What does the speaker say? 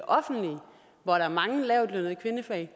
offentlige hvor der er mange lavtlønnede kvindefag